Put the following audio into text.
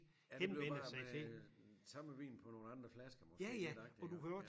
Ja det blev bare med samme vin på nogle andre flasker måske lidt agtigt